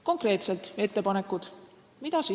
Konkreetsed ettepanekud, mida teha.